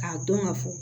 K'a dɔn ka fɔ